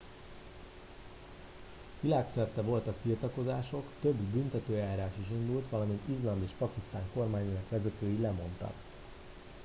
világszerte voltak tiltakozások több büntetőeljárás is indult valamint izland és pakisztán kormányának vezetői lemondtak